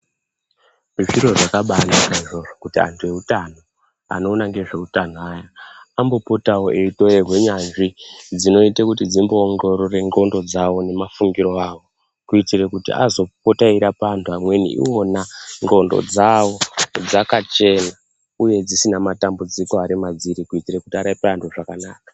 Zviro zvakabanaka izvozvo kuti antu eutano, anoona ngezveutano aya ambopotawo eyitorerwe nyanzvi dzinoite kuti dzimboongorore ndxondo dzawo nemafungiro awo, kuitire kuti azopota eirapa antu amweni iwona ndxondo dzawo dzakachena uye dzisina matambudziko ari madziri kuitire kuti arape anhu zvakanaka.